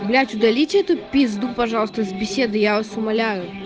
удалить эту пизду пожалуйста из беседы я вас умоляю